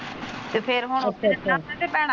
ਤੇ ਫਿਰ ਹੁਣ ਅੱਛਾ .